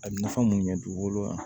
A bɛ nafa mun ɲɛ dugukolo ma